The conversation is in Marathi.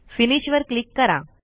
फिनिश वर क्लिक करा